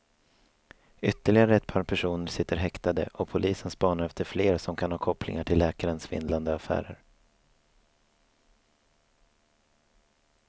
Ytterligare ett par personer sitter häktade och polisen spanar efter fler som kan ha kopplingar till läkarens svindlande affärer.